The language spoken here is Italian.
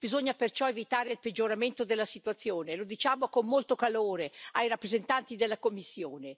Bisogna perciò evitare il peggioramento della situazione, lo diciamo con molto calore ai rappresentanti della Commissione.